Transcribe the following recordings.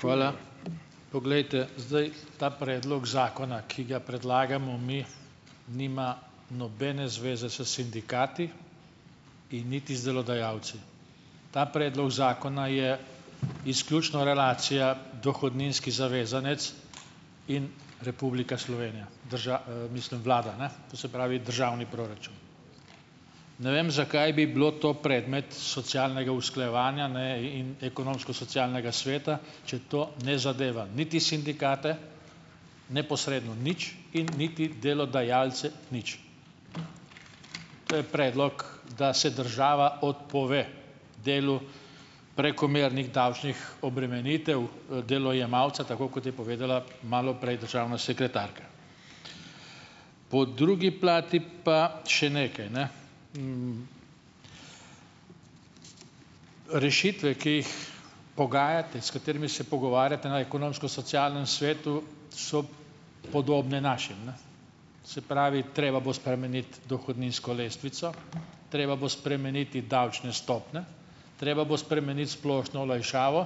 Hvala. Poglejte zdaj. Ta predlog zakona, ki ga predlagamo mi, nima nobene zveze s sindikati in niti z delodajalci. Ta predlog zakona je izključno relacija dohodninski zavezanec in Republika Slovenija mislim vlada ne, to se pravi državni proračun. Ne vem, zakaj bi bilo to predmet socialnega usklajevanja, ne, in Ekonomsko-socialnega sveta, če to ne zadeva niti sindikate neposredno nič in niti delodajalce nič. To je predlog, da se država odpove delu prekomernih davčnih obremenitev, delojemalca, tako kot je povedala malo prej državna sekretarka. Po drugi plati pa še nekaj, ne. Rešitve, ki jih pogajate, s katerimi se pogovarjate na Ekonomsko-socialnem svetu, so podobne našim, ne. Se pravi, treba bo spremeniti dohodninsko lestvico, treba bo spremeniti davčne stopnje, treba bo spremeniti splošno olajšavo,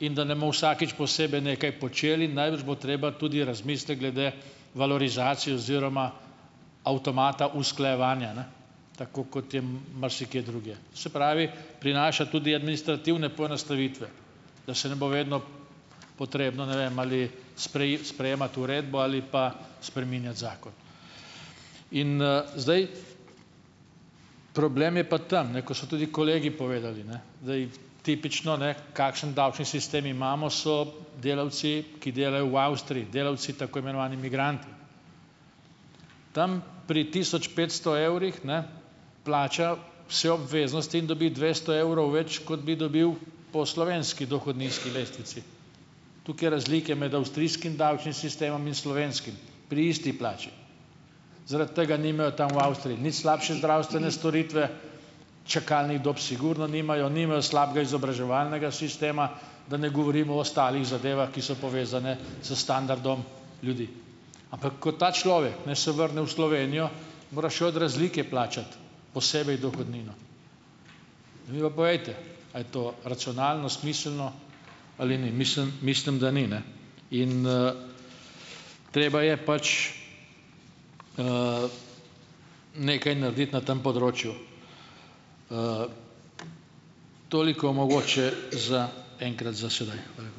in da ne bomo vsakič posebej nekaj počeli, najbrž bo treba tudi razmisliti glede valorizacije oziroma avtomata usklajevanja, ne, tako kot je marsikje drugje. Se pravi, prinaša tudi administrativne poenostavitve, da se ne bo vedno potrebno, ne vem, ali sprejemati uredbo ali pa spreminjati zakon. In zdaj, problem je pa tam, ne, ko so tudi kolegi povedali, ne, zdaj, tipično, ne, kakšen davčni sistem imamo, so delavci, ki delajo v Avstriji, delavci tako imenovani migranti, tam pri tisoč petsto evrih, ne, plača vse obveznosti in dobi dvesto evrov več, kot bi dobil po slovenski dohodninski lestvici. Toliko je razlike med avstrijskim davčnim sistemom in slovenskim, pri isti plači. Zaradi tega nimajo tam v Avstriji nič slabše zdravstvene storitve, čakalnih dob sigurno nimajo, nimajo slabega izobraževalnega sistema, da ne govorim o ostalih zadevah, ki so povezane s standardom ljudi. Ampak ko ta človek, ne, se vrne v Slovenijo, mora še od razlike plačati posebej dohodnino. Zdaj mi pa povejte, a je to racionalno, smiselno ali ni. Mislim, mislim, da ni, ne. In treba je pač nekaj narediti na tem področju. Toliko mogoče za enkrat za sedaj. Hvala.